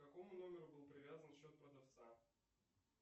к какому номеру был привязан счет продавца